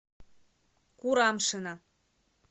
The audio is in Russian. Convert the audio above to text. курамшина